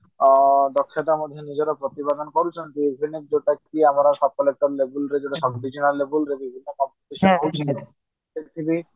ଆଁ ନିଜର ଦକ୍ଷତା ମଧ୍ୟ ପ୍ରତିପାଦନ କରୁଛନ୍ତି ବିଭିନ୍ନ ଯୋଉଟା କି ଆମର sub divisional label ରେ ବି ବିଭିନ୍ନ competition ହଉଛି ସେଠି ବି